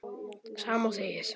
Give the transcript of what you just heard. Sama og þegið!